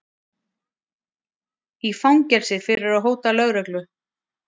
Í fangelsi fyrir að hóta lögreglu